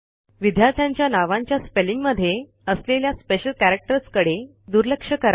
विद्यार्थ्यांच्या नावांच्या स्पेलिंग मध्ये असलेल्या स्पेशल कॅरॅक्टर्सकडे दुर्लक्ष करा